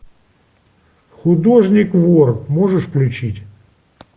художник вор можешь включить